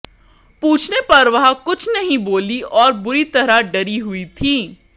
पूछने पर वह कुछ नहीं बोली और बुरी तरह डरी हुई थी